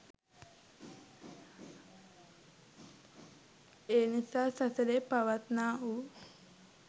ඒනිසා සසරේ පවත්නා වූ